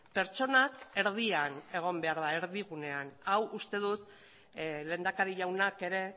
pertsonak erdian egon behar da erdigunean hau uste dut lehendakari jaunak ere